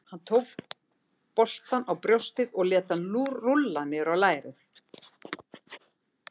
Hann tók boltann á brjóstið og lét hann rúlla niður á lærið.